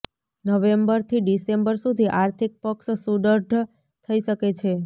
નવેમ્બરથી ડિસેમ્બર સુધી આર્થિક પક્ષ સુદૃઢ થઈ શકે છે